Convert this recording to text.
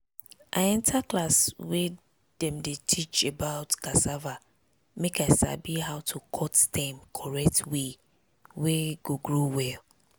i enter class wey den dey teach about cassava make i sabi how to to cut stem correct way wey go grow well.